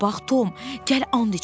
Bura bax, Tom, gəl and içək.